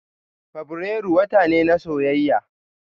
Fabrairu wata ne na soyayya.